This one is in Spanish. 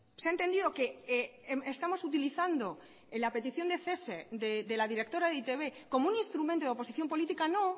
se ha entendido que estamos utilizando la petición de cese de la directora de e i te be como un instrumento de oposición política no